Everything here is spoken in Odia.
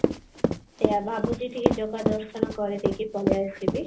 ସେଇଆ ଭାବୁଚି ଟିକେ ଜଗା ଦର୍ଶନ କରିଦେଇକି ପଳେଇଆସିବି